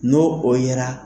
N'o o yera